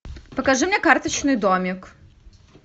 покажи мне карточный домик